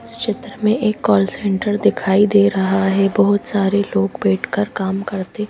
इस चित्र में एक कॉल सेंटर दिखाई दे रहा है बहुत सारे लोग बैठकर काम करते--